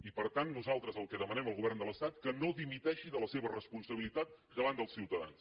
i per tant nosaltres el que demanem al govern de l’estat és que no dimiteixi de la seva responsabilitat davant dels ciutadans